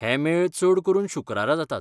हे मेळ चड करून शुक्रारा जातात.